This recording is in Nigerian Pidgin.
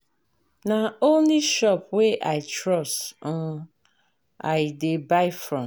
Na only shop wey I trust um I dey buy from.